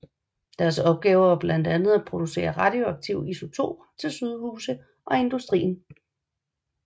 Deres opgaver var blandt andet at producere radioaktive isotoper til sygehuse og industrien